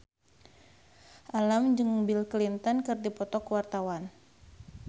Alam jeung Bill Clinton keur dipoto ku wartawan